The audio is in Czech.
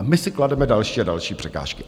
A my si klademe další a další překážky.